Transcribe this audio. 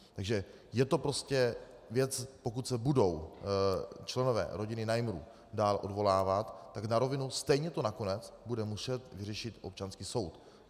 Takže je to prostě věc, pokud se budou členové rodiny Najmrů dál odvolávat, tak na rovinu, stejně to nakonec bude muset vyřešit občanský soud.